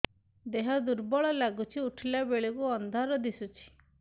ଦେହ ଦୁର୍ବଳ ଲାଗୁଛି ଉଠିଲା ବେଳକୁ ଅନ୍ଧାର ଦିଶୁଚି